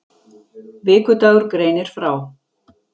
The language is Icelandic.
Vikudagur greinir frá